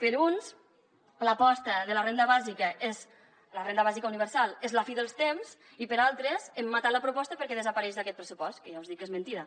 per uns l’aposta de la renda bàsica la renda bàsica universal és la fi dels temps i per altres hem matat la proposta perquè desapareix d’aquest pressupost que ja us dic que és mentida